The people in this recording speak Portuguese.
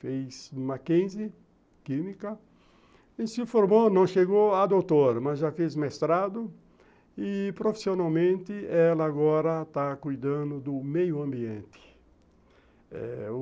fez Mackenzie química e se formou, não chegou a doutor, mas já fez mestrado e profissionalmente ela agora está cuidando do meio ambiente.